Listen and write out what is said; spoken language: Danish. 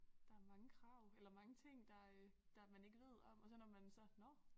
Der mange krav eller mange ting der øh der man ikke ved om og så når man så nåh